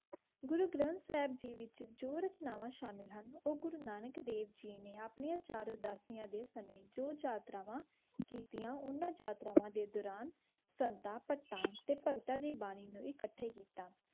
ਗੁਰੂ ਗ੍ਰਾਨਤ ਸਾਹਿਬ ਵਿਚ ਜੀ ਰਚਨਾਵਾ ਸ਼ਾਮਿਲ ਹੁਣ ਓਰ ਗੁਰੂ ਨਾਨਕ ਦਾਵੇ ਜੀ ਨੀ ਅਪਣਿਆ ਚਾਰ ਉਦਾਸੀਆ ਦੀ ਸਮਿਤ ਜੋ ਚਾਤ੍ਰਾਵਾ ਕੇਤੇਯਾ ਓਨਾ ਚਾਤ੍ਰਾਵਾ ਦੇ ਦੋਰਾਨ ਛੰਤਾ ਕਟਾ ਤੇ ਪੋਗਤਾ ਦੀ ਬਾਨੀ ਨੂ ਏਕਤਾ ਕੀਤਾ